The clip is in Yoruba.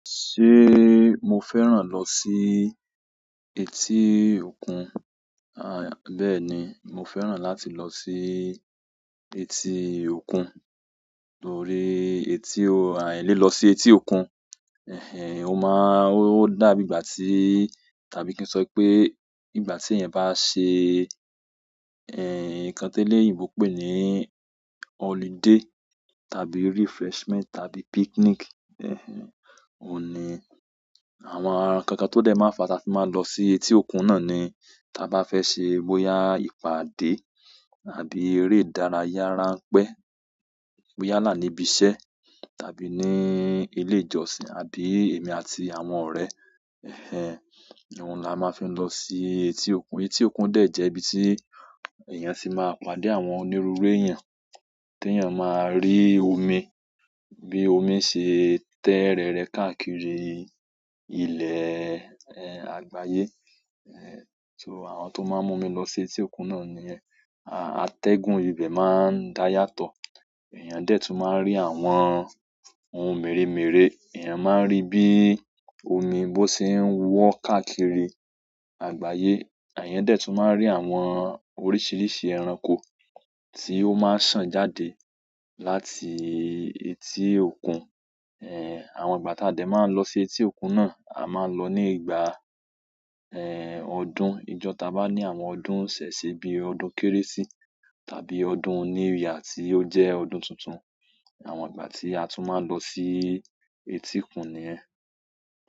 Ṣé mo fẹ́ràn lọ sí etí òkun? Bẹ́ẹ̀ ni, mo fẹ́ràn láti lọ sí etí òkun. Torí lilọ sí etí òkun, ó dá bí ìgbà tí, tàbí kí n sọ pé ìgbà tí èèyàn bá ṣe, nǹkan tí eleyinbo pè ní holiday tàbí refreshment tàbí picnic. Ohun ni àwọn nnkankan tó dé máa ń fa tí a máa ń lọ sí etí òkun náà ni ta bá fẹ́ ṣe bóyà ìpàdé àbí eré ìdárayá ránpẹ́. Bóyà nàá níbi iṣẹ́ tàbí ní ilé ìjọsìn, àbí èmi àti àwọn ọ̀rẹ́. Ohun la máa ń fi lọ sí etí òkun. Etí òkun dẹ̀ jẹ́ ibi tí èèyàn ti máa pàdé àwọn onírúurú èèyàn, tí èèyàn máa rí omi, bí omi ṣe ń tẹ rẹrẹ káàkiri ilẹ̀ àgbáyé. So àwọn tó máa ń mú mi lọ sí etí òkun náà nìyẹn. Atẹ́gùn ibẹ̀ máa ń dá yàtọ̀. Ẹ̀èyàn dẹ́ tún máa ń rí àwọn ohun mèremère. Ẹ̀èyàn máa ń rí bí omi bó ṣe ń wọ́ káàkiri àgbáyé. Ẹ̀èyàn dẹ́ tún máa ń rí àwọn oríṣiríṣi ẹranko tí ó máa ń sàn jáde láti etí òkun. Àwọn ìgbà tá a dẹ́ máa lọ sí etí òkun náà, a máa ń lọ ní ìgbà ọdún. Ìjọ ta bá ní àwọn ọdún iṣẹ̀ṣẹ̀ bí ọdún Kérésì tàbí ọdún new year ti ó jẹ́ ọdún tuntun. Àwọn ìgbà tí a tún máa ń lọ sí etí òkun nìyẹn.